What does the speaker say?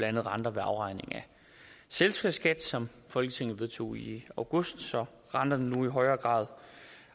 andet renter ved afregning af selskabsskat som folketinget vedtog i august så renterne nu i højere grad